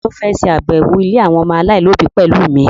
Ta ló fẹ́ lọ ṣàbẹ̀wọ̀ ilé àwọn ọmọ aláìlóbi pẹ̀lú mi?